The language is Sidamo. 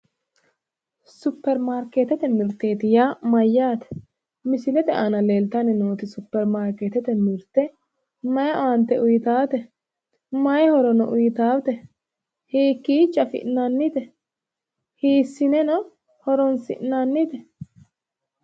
Supperimarkeetete mirteti yaa maayyaate? Misilete aana leellitanni nooti superimarkeetete mirte mayi owaante uyiitaate? Hiikkiicho afi'inannite? Hiisineno horoonsi'nannite?